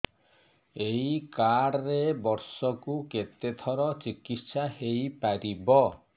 ଏଇ କାର୍ଡ ରେ ବର୍ଷକୁ କେତେ ଥର ଚିକିତ୍ସା ହେଇପାରିବ